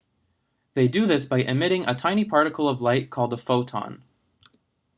they do this by emitting a tiny particle of light called a photon